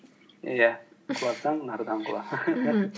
иә құласаң нардан құла